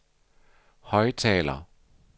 højttaler